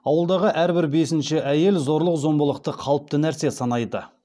ауылдағы әрбір бесінші әйел зорлық зомбылықты қалыпты нәрсе санайды